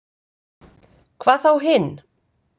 Hvað þá hinn.